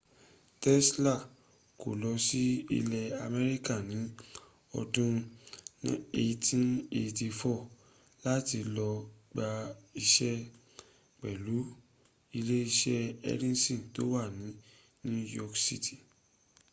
tesla kó lọ sí ilẹ̀ america ní ọdún 1884 láti lọ gba iṣẹ́ pẹ̀lú ilé-iṣẹ́ edison tó wà ní new york cit